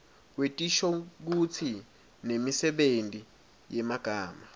wetinshokutsi nemisebenti yemagama